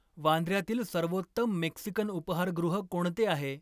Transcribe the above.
वांद्र्यातील सर्वोत्तम मेक्सिकन उपाहारगृह कोणते आहे?